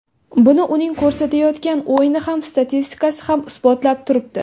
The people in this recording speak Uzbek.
Buni uning ko‘rsatayotgan o‘yini ham statistikasi ham isbotlab turibdi.